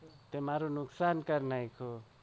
તે મારુ નુકશાન કરી નાખ્યું.